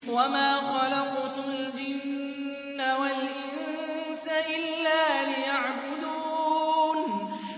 وَمَا خَلَقْتُ الْجِنَّ وَالْإِنسَ إِلَّا لِيَعْبُدُونِ